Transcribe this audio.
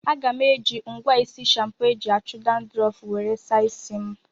Aga m eji ngwa isi shampo eji achụ dandrọfu were saa isi m